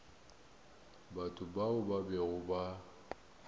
batho bao ba bego ba